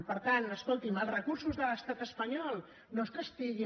per tant escolti’m els recursos de l’estat espanyol no és que estiguin